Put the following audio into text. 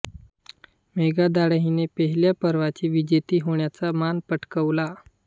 मेघा धाडे हिने पहिल्या पर्वाची विजेती होण्याचा मान पटकावला